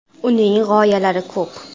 Uning g‘oyalari ko‘p.